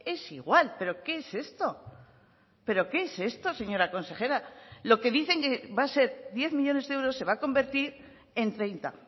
es igual pero qué es esto pero qué es esto señora consejera lo que dicen que va a ser diez millónes de euros se va a convertir en treinta